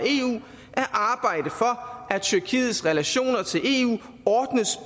eu at tyrkiets relationer til eu ordnes